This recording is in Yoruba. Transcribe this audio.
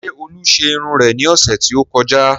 Ṣé olú ṣe irun rẹ ní ọ̀sẹ̀ tí ó kọjá?